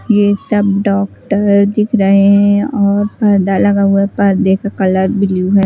ये सब डॉक्टर दिख रहे हैं और पर्दा लगा हुआ है पर्दे का कलर ब्लू है।